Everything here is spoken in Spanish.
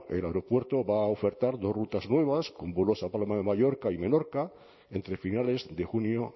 el aeropuerto va a ofertar dos rutas nuevas con vuelos a palma de mallorca y menorca entre finales de junio